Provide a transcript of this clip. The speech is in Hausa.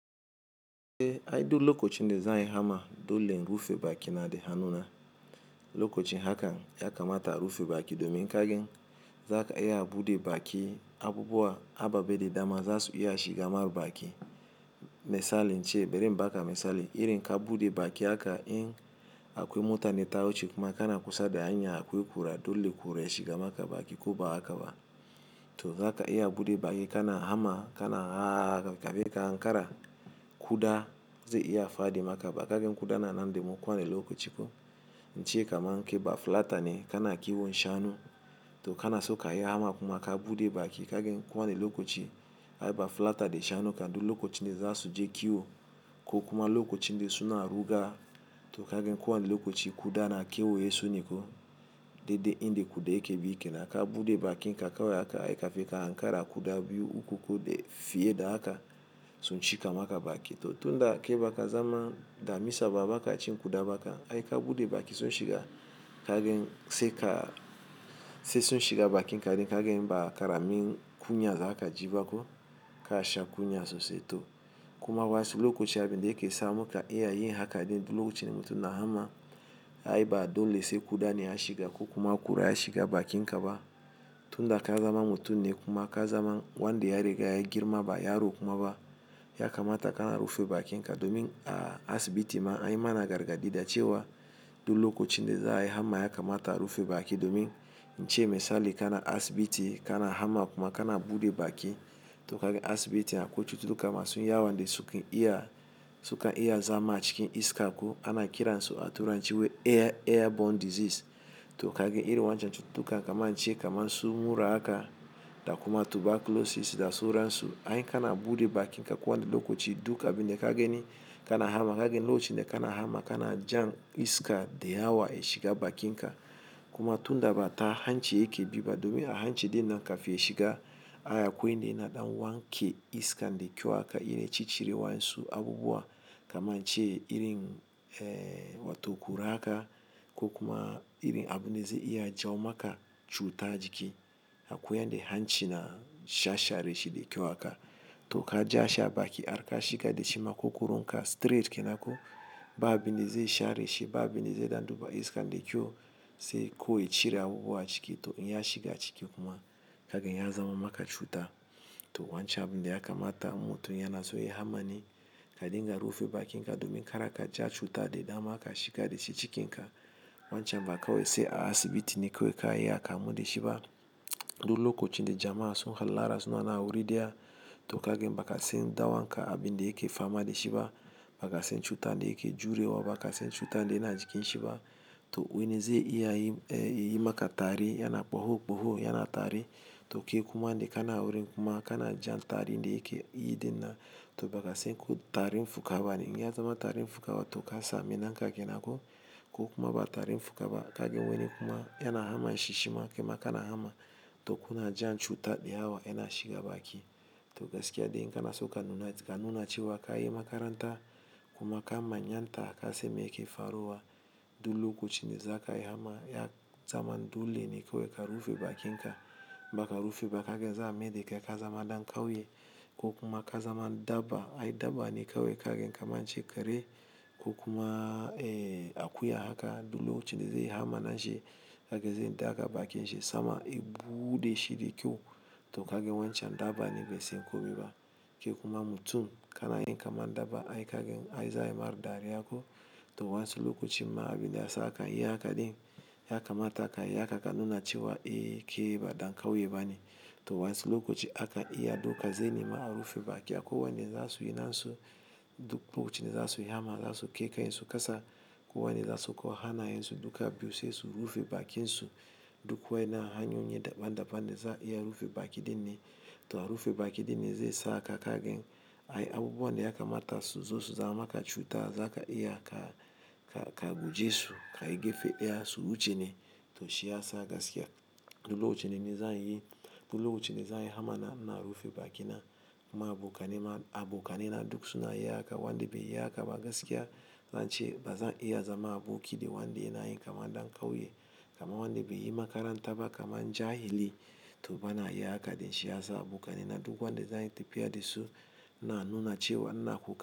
Eh ai duk lokacin da za ayi hamma dole in rufe baki na da hannuna. Lokocin hakan ya kamata a rufe baki domin kagen za ka iya bude baki abubuwa ababe da dama za su iya shiga ma baki. Misali ince, bari inbaka misali, irin ka bude baki haka in akwai mota ne ta wuce kuma kana kusa da hanya akwai kura dole kurai shiga maka baki koba hakaba. To za ka iya bude baki kana hamma kana haaaaaa kakkabe ka ankara kuda ze iya fadima ka ba kagan kudana nan demu ko wane lokochi ko. Ince kaman ke bafullata ne kana kiwon shanu to kana so ka yi hama kuma ka bude baki kagani ko wane lokoci ai bafullata de shanu kam du lokocin de zasu je kiwo ko kuma lokocin de suna ruga to kagen kowa ne lokoci kuda na kewaye su ne ko de de inde kuda yake bi kenan ka bude bakin ka kawe haka ai ka feka hankara kuda biyu uku ko de fiyeda haka sun shika maka baki. To tunda ke baka zama damisa ba baka ci kuda baka ai ka bude baki sun shiga kagen se ka se sun shiga bakin ka din kagen ba karamin kunya za ka jibako ka sha kunya sosai to kuma wasu lokoci abinde ke sa muka iya yin haka din du lokocin mutum na hama ai ba dole se kuda ne ya shiga ko kuma kura ya shiga bakin kaba. Tunda ka zama mutum ne kuma ka zama wanda ya riga ya girma ba ya ro kuma ba ya kamata kana rufe bakin ka domin a asibiti ma anyi mana gargaɗi da cewa du lokocin de za'ayi hamma ya kamata a rufe baki domin ince misali kana asibiti kana hamma kuma kana bude baki to kaga asibitin akwai cututtuka masu yawan da sukan iya sukan iya zama a ciki iska ana kiransu a turanci air airborne disease to kaga irin wancan cututtukan kamar ince irin su mura haka da kuma tuberculosis da su ransu ai kana bude bakin ka ko wane lokoci duk abinda ka gani kana hama kagen loci da kana hama kana jan iska de yawa ya shiga bakin ka kuma tunda bata hanci yake biba domin a hancin dinnan ka fi ya shiga ai akwai inde yana ɗan wanke iska de kyau haka ire ci cire wansu abubuwa kaman ce irin eh wato kura haka ko kuma irin abu ne ze iya jawo maka cuta jiki akwai yande hanci na sha share shi de kyau haka to ka ja shi a baki ar ka shiga de shi makokaron ka straight kena ko ba abin de ze sha reshi ba abin ze dan duba iska de kyau se kowai ya cire abubuwa ciki to in ya shiga ciki kuma kagen ya zaman maka cuta. To wancan abun da ya kamata mutu yana so ya hama ni ka dinga rufe bakin ka domin karaka ja cuta de dama ka shiga de shi cikin ka wancan ba kawai se a asibiti ne kawai ka yiya kamu de shi ba. Du lokochi de jama'a sun hallara suna nan a wuri daya to kagen bakasen dawanka abinda yake fama de shi ba bakasen cuta de yake jure wa bakasen cuta de yana jikin shi ba to wane ze iya yi eh yi maka tari yana ɓuhu ɓuhu yana tari to ke kuma de kana wuri kuma kana jan tari de yake yin din nan kai kuma bakasen tarin fuka bane in ya zama tarin fuka wato ka samu naka ko kuma ba tarin fuƙa ba kagen wane kuma yana hamma shi shi ma ke ma kana hamma to kuna jan cuta de yawa yana shiga baki. To gaskiya de in kanaso ka nuna cewa kayi makaranta kuma ka manyanta kana san me yake faruwa du lokocin de zaka yi hamma ya zaman dole ne kawai ka rufe bakin ka baka rufe ba kagan za a mide kai ka zama ɗan ƙauye ko kuma ka zama dabba ai dabba ne kawai kagen kaman ce kare ko kuma eh akuya haka du lokocin de zai hamma nashi kaga ze daaga bakin shi sama ya buuɗe shi de kyau to kagen wancan dabba ne be sen komi ba ke kuma mutum kana yin kaman dabba ai kagen ai za yi mar dariya ko to wansu lokocimma abinda ya saka ya haka din ya kamata ka yi haka ka nuna cewa eh ke ba dan kauye bane to wansu lokoci aka iya doka zenema a rufe baki akwai wanda za su yi nan su du focin dezasu yi hama za su ke ken su kasa ko wane za su ko hanaye su duka biyu sai su rufe bakin su duk wai na hanyoyi daban daban de za a iya rufe baki dinne to a rufe baki dinne ze sa ka kagen ai abubuwan da ya kamata su zasu zama ka cuta za ka iya ka ka ka guje su ka yi gefe ɗaya su wuce ne to shiyasa gaskiya du lokoci ne zanyi du lokochi ne zanyi hama na ina rufe bakina ma abokane ma abokane na duk suna ye haka wanda bai yi haka ba gaskiya zan ce bazan iya zama aboki de wanda yanayi kaman ɗan kauye kaman wanda be yi makaranta ba kaman jahili to bana yi haka deshi yasan abokane na duk wanda zanyi tafiya de su na nuna cewa nmna koka.